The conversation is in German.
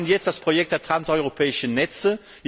Wir haben jetzt das Projekt der transeuropäischen Netze.